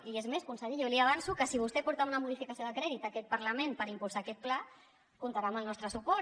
i és més conseller jo li avanço que si vostè porta una modificació de crèdit a aquest parlament per impulsar aquest pla comptarà amb el nostre suport